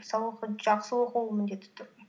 сабақты жақсы оқу ол міндетті түрде